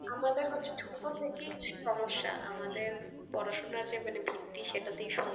আমদের হচ্ছে ছোট থেকেই সমস্যা, আমাদের পড়াশোনার যে মানে ভিত্তি সেটাতেই সমস্যা।